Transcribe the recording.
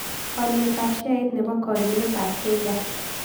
Alyetap sheait ne po kagiiletap kgas